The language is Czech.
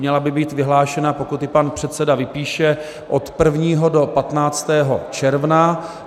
Měla by být vyhlášena, pokud ji pan předseda vypíše, od 1. do 15. června.